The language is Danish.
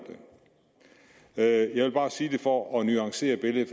det jeg vil bare sige det for at nuancere billedet